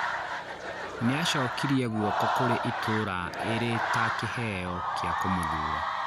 Nĩacokirie gũoko kũrĩ itũra ĩrĩ ta kĩheo kĩa kũmũthura